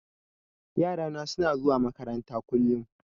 Yarana suna zuwa makaranta kullum.